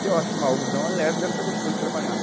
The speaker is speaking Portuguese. E eu acho que o algodão é leve, deve ser gostoso de trabalhar.